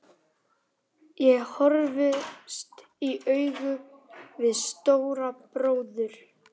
Ég horfðist í augu við Stóra bróður.